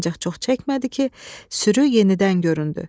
Ancaq çox çəkmədi ki, sürü yenidən göründü.